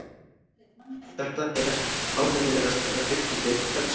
Þetta er ánægjulegasta augnablik dagsins.